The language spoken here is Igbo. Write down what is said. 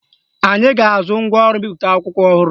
Anyị ga-azụ ngwaọrụ mbipụta akwụkwọ ọhụrụ